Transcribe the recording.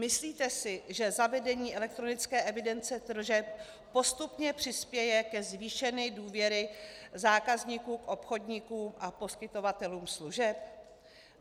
Myslíte si, že zavedení elektronické evidence tržeb postupně přispěje ke zvýšení důvěry zákazníků k obchodníkům a poskytovatelům služeb?